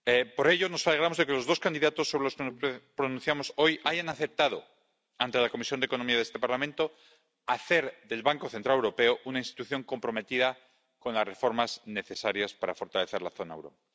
Por ello, nos alegramos de que los dos candidatos sobre los que nos pronunciamos hoy hayan aceptado, ante la Comisión de Asuntos Económicos de este Parlamento, hacer del Banco Central Europeo una institución comprometida con las reformas necesarias para fortalecer la zona del euro.